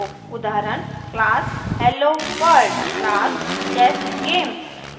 उदाहरण : class helloworld class chessgame